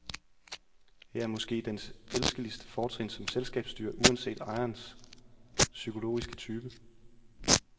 Her er måske dens elskeligste fortrin som selskabsdyr, uanset ejerens psykologiske type.